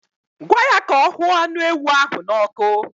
Gwa ya ka ọ huọ anụ ewu ahụ n'ọkụ.